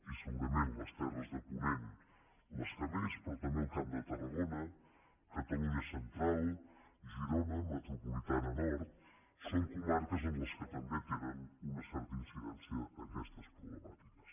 i segurament les terres de ponent les que més però també el camp de tarragona catalunya central girona metropolitana nord són comarques en les quals també tenen una certa incidència aquestes problemàtiques